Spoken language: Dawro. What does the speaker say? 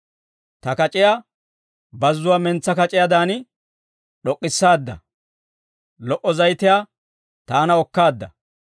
Ta kac'iyaa bazzuwaa mentsaa kac'iyaadan d'ok'k'issaadda; lo"o zayitiyaa taana okkaadda.